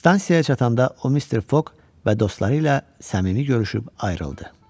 Stansiyaya çatanda o Mister Foq və dostları ilə səmimi görüşüb ayrıldı.